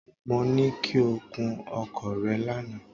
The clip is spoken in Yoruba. Mo ní kí o kun ọkọ̀ rẹ lánàá.